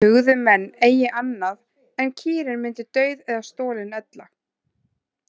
Hugðu menn eigi annað en kýrin myndi dauð eða stolin ella.